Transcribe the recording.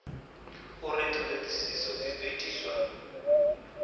uri ṱhoḓisio dzi ḓo itiswa